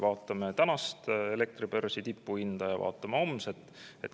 Vaatame tänast elektribörsi tipuhinda ja vaatame homset.